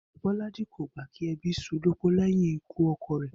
Bó̩lájí kò gbà kí e̩bí s̩ú u lópó lé̩yìn ikú o̩ko̩ rè̩